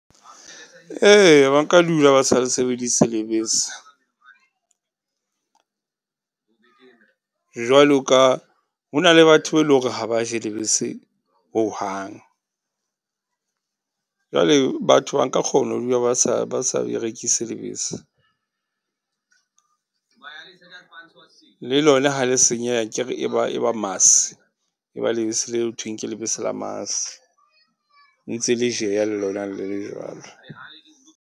Eya ba nka dula ba sa le sebedise lebese. Jwalo ka, ho na le batho be e leng hore ha ba je lebese hohang. Jwale batho ba nka kgona ho dula ba sa, ba sa berekise lebese. Le lona ha le senyeha akere e ba maas, e ba lebese le ho thweng ke lebese la maas. Ntse le jeha le lona le le jwalo.